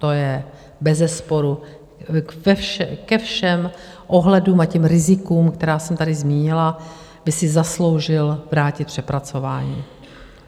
To je bezesporu ke všem ohledům a těm rizikům, která jsem tady zmínila, by si zasloužil vrátit k přepracování.